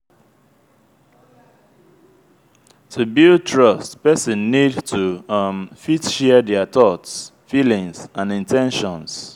to build trust person need to um fit share their thoughts feelings and in ten tions